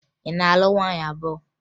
Ị na-alụ nwaanyị abụọ?